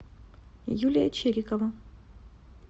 юлия чирикова